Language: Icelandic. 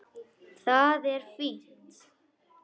Það er fínt.